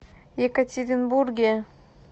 екатеринбурге